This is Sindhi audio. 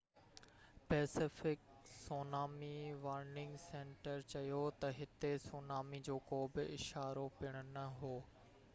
پئسيفڪ سونامي وارننگ سينٽر چيو ته هتي سونامي جو ڪو به اشارو پڻ نه هو